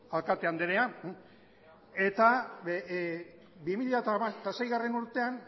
alkate andrea eta bi mila seigarrena urtean